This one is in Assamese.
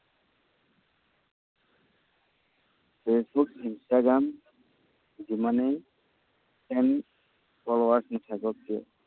ফেচবুক, ইনষ্টাগগ্ৰাম যিমানেই friend forward নাথাকক কিয়,